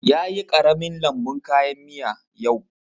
Ya yi ƙaramin lambun kayan miya yau